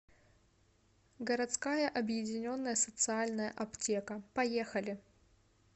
городская объединенная социальная аптека поехали